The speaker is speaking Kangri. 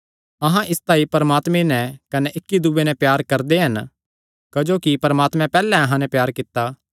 अहां इसतांई परमात्मे नैं कने इक्की दूये नैं प्यार करदे हन क्जोकि परमात्मे पैहल्ले अहां नैं प्यार कित्ता